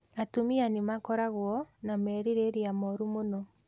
Atumia nĩ makoragwo na merirĩria moru mũno